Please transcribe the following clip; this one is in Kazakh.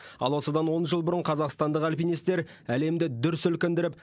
ал осыдан он жыл бұрын қазақстандық альпинистер әлемді дүр сілкіндіріп